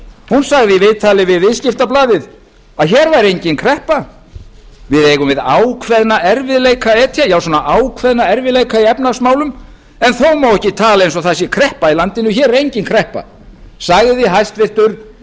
hún sagði í viðtali við viðskiptablaðið að hér væri engin kreppa við eigum við ákveðna erfiðleika að etja ákveðna erfiðleika í efnahagsmálum en þó má ekki tala eins og það sé kreppa í landinu hér er engin kreppa sagði hæstvirtur